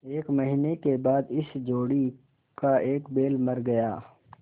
एक महीने के बाद इस जोड़ी का एक बैल मर गया